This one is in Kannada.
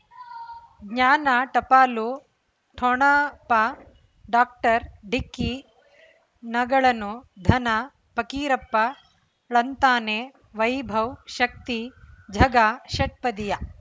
ಜ್ಞಾನ ಟಪಾಲು ಠೊಣಪ ಡಾಕ್ಟರ್ ಢಿಕ್ಕಿ ಣಗಳನು ಧನ ಫಕೀರಪ್ಪ ಳಂತಾನೆ ವೈಭವ್ ಶಕ್ತಿ ಝಗಾ ಷಟ್ಪದಿಯ